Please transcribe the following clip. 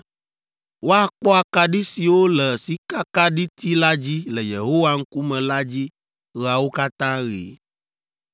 Woakpɔ akaɖi siwo le sikakaɖiti la dzi le Yehowa ŋkume la dzi ɣeawo katã ɣi.